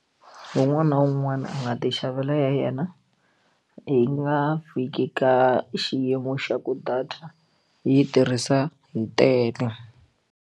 Un'wana na un'wana a nga ti xavela ya yena yi nga fiki ka xiyimo xa ku data yi tirhisa hi tele.